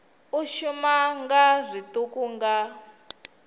u shuma nga zwiṱuku nga